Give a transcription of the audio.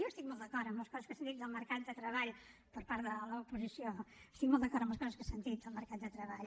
jo estic molt d’acord amb les coses que s’han dit del mercat de treball per part de l’oposició estic molt d’acord amb les coses que s’han dit del mercat de treball